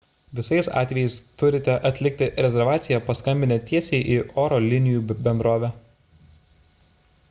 visais atvejais turite atlikti rezervaciją paskambinę tiesiai į oro linijų bendrovę